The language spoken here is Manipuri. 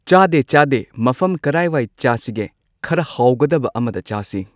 ꯆꯥꯗꯦ ꯆꯥꯗꯦ ꯃꯐꯝ ꯀꯔꯥꯏꯋꯥꯏ ꯆꯥꯁꯤꯒꯦ ꯈꯔ ꯍꯥꯎꯒꯗꯕ ꯑꯃꯗ ꯆꯥꯁꯤ꯫